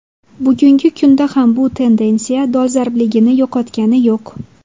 Bugungi kunda ham bu tendensiya dolzarbligini yo‘qotgani yo‘q.